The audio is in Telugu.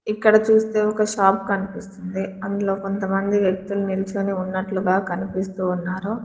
ఇక్కడ చూస్తే ఒక షాప్ కనిపిస్తుంది అందులో కొంతమంది వ్యక్తులు నిల్చొని ఉన్నట్లుగా కనిపిస్తూ ఉన్నారు.